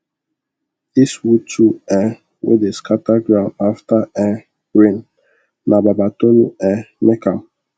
this wood tool um wey dey scatter ground after um rain na baba tolu um make am